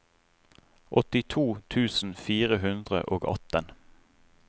åttito tusen fire hundre og atten